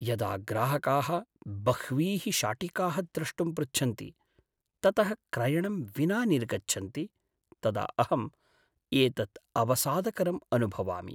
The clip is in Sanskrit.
यदा ग्राहकाः बह्वीः शाटिकाः द्रष्टुं पृच्छन्ति, ततः क्रयणं विना निर्गच्छन्ति तदा अहम् एतत् अवसादकरम् अनुभवामि।